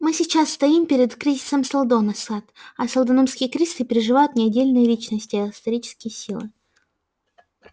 мы сейчас стоим перед кризисом сэлдона сатт а сэлдоновские кризисы переживают не отдельные личности а исторические силы